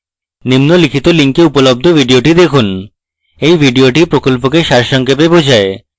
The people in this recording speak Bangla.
নিম্নলিখিত link উপলব্ধ video দেখুন এই video প্রকল্পকে সারসংক্ষেপে বোঝায়